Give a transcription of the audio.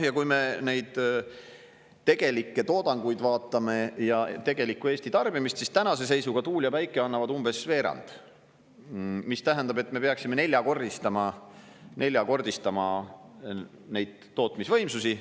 Ja kui me neid tegelikke toodanguid vaatame ja tegelikku Eesti tarbimist, siis tänase seisuga tuul ja päike annavad umbes veerandi, mis tähendab, et me peaksime neljakordistama neid tootmisvõimsusi.